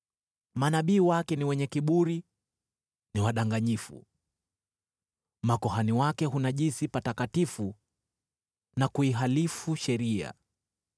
Manabii wake ni wenye kiburi, ni wadanganyifu. Makuhani wake hunajisi patakatifu na kuihalifu sheria.